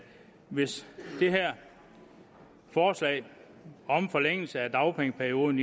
hvis det her forslag om forlængelse af dagpengeperioden